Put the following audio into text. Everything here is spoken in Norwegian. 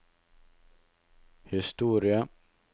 historie